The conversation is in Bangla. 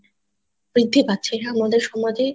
বৃদ্ধি পাচ্ছে হা আমাদের সমাজে